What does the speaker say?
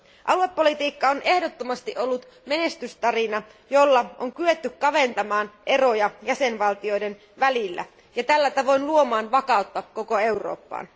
Aluepolitiikka on ehdottomasti ollut menestystarina, jolla on kyetty kaventamaan eroja jäsenvaltioiden välillä ja tällä tavoin luomaan vakautta koko Eurooppaan.